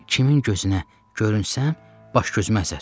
Mən kimin gözünə görünsəm, baş-gözüm əzər.